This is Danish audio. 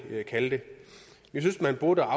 kalde det vi synes man burde